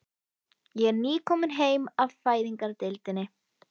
Ég er nýkomin heim af Fæðingardeildinni.